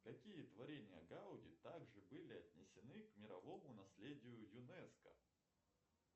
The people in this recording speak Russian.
какие творения гауди также были отнесены к мировому наследию юнеско